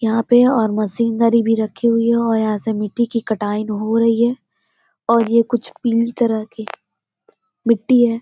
यहाँ पे और मशीन भी रक्खी हुई है और यहाँ से मिट्टी की कटाई हो रही है और ये कुछ पीले तरह की मिट्टी है।